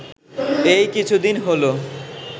এই কিছুদিন হলো